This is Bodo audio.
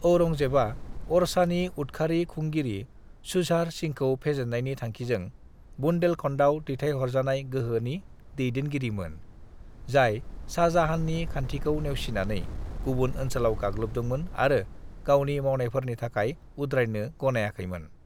"औरंगजेबा ओरछानि उदखारि खुंगिरि झुझार सिंहखौ फेजेननायनि थांखिजों बुंदेलखंडाव दैथायहरजानाय गोहोनि दैदेनगिरिमोन, जाय शाहजहाननि खानथिखौ नेवसिनानै गुबुन ओनसोलाव गाग्लोबदोंमोन आरो गावनि मावनायफोरनि थाखाय उद्रायनो गनायाखैमोन।"